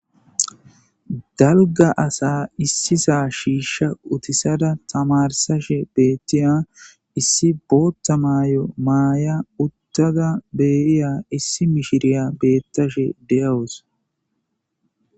Dalgga assa issisa shisha uthisada tamarisashe bethiya issi booththa mayyo Maya uttada deyiyya issi mishiriya bethishe deawuss.